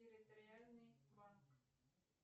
территориальный банк